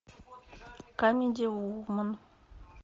камеди вумен